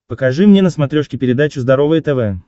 покажи мне на смотрешке передачу здоровое тв